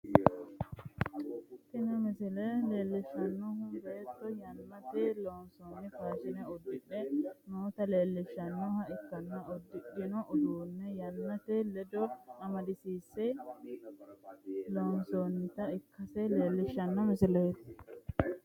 Tini misile leelishanohu beetto yannate loonsoonni faashine udidhe noota leelishanoha ikkanna udidhino udano yannate ledo amadisiinse loonsoonita ikase leelishano misileeti.